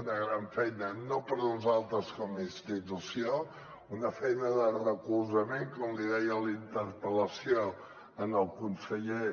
una gran feina no per a nosaltres com a institució una feina de recolzament com li deia a la interpel·lació al conseller